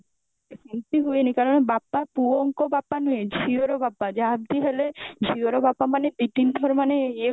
ସେମଟି ହୁଏନି କାରଣ ବାପା ପୁଅଙ୍କ ବାପା ନୁହେଁ ଝିଅର ବାପା ଯାହାବି ହେଲେ ଝିଅର ବାପା ମାନେ ଦି ତିନ ଥର ମାନେ ଇଏ